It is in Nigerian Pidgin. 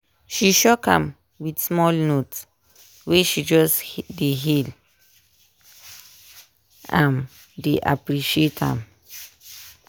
she shock am with small note wey she just dey hail am dey appreciate am.